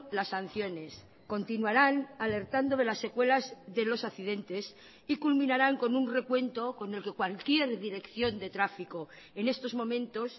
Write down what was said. las sanciones continuarán alertando de las secuelas de los accidentes y culminarán con un recuento con el que cualquier dirección de tráfico en estos momentos